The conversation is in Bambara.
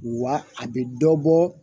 Wa a bɛ dɔ bɔ